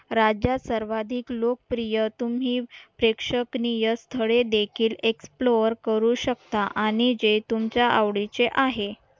राज्यात सर्वाधिक लोकप्रिय तुम्ही प्रेक्षकनिय स्थळे देखील एक्सप्लोअर करू शकता आणि जे तुमच्या आवडीचे आहे